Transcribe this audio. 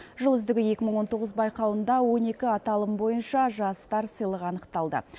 жыл үздігі екі мың он тоғыз байқауында он екі аталым бойынша жастар сыйлығы анықталды